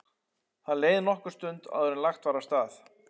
Það leið nokkur stund áður en lagt var af stað.